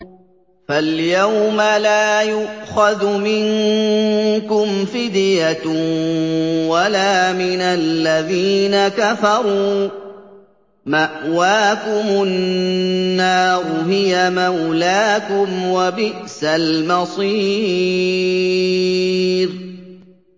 فَالْيَوْمَ لَا يُؤْخَذُ مِنكُمْ فِدْيَةٌ وَلَا مِنَ الَّذِينَ كَفَرُوا ۚ مَأْوَاكُمُ النَّارُ ۖ هِيَ مَوْلَاكُمْ ۖ وَبِئْسَ الْمَصِيرُ